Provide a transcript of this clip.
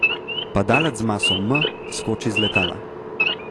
Padalec z maso m skoči iz letala.